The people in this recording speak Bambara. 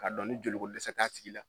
K'a dɔn joliko dɛsɛ t'a tigi la